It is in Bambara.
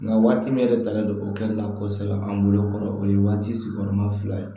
Nka waati min yɛrɛ talen don o kɛli la kosɛbɛ an bolo kɔrɔ o ye waati sigiyɔrɔma fila ye